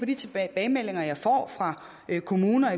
de tilbagemeldinger jeg får fra kommuner